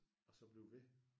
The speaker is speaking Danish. Og så blive ved